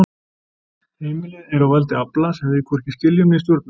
Heimilið er á valdi afla sem við hvorki skiljum né stjórnum.